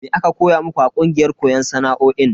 Me aka koya muku a kungiyar koyon sana'o'in?